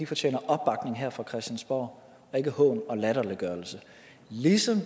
fortjener opbakning her fra christiansborg ikke hån og latterliggørelse ligesom